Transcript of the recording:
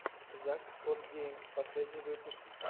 зак скотт геймс последний выпуск